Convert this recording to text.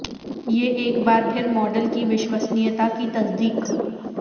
یہ ایک بار پھر ماڈل کی وشوسنییتا کی تصدیق